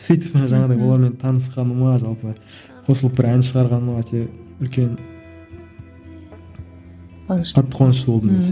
сөйтіп жаңағыдай олармен танысқаныма жалпы қосылып бір ән шығарғаныма өте үлкен қуанышты қатты қуанышты болдым